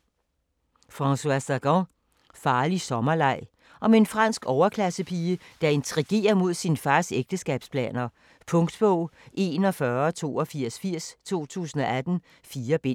Sagan, Françoise: Farlig sommerleg Om en fransk overklassepige, der intrigerer mod sin fars ægteskabsplaner. Punktbog 418280 2018. 4 bind.